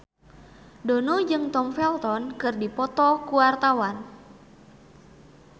Dono jeung Tom Felton keur dipoto ku wartawan